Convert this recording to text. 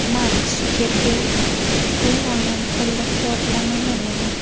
Mark Sukerberg bu g‘oyani qo‘llab-quvvatlamagan edi.